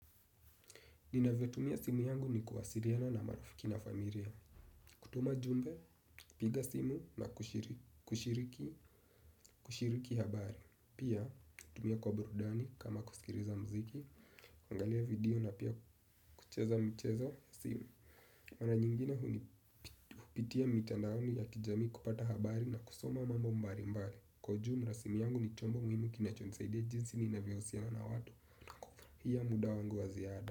Ninavyotumia simu yangu ni kuwasiliana na marafiki na familia. Kutuma jumbe, piga simu na kushiriki, kushiriki habari. Pia, hutumia kwa burudani kama kusikiliza mziki, kuangalia video na pia kucheza mchezo simu. Mara nyingine huni hupitia mitandaoni ya kijami kupata habari na kusoma mambo mbalimbali. Kwa ujumla simu yangu ni chombo muhimu kinachonisaidia jinsi ninavyohusiana na watu. Pia muda wangu wa ziada.